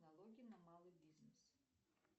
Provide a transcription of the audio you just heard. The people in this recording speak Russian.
налоги на малый бизнес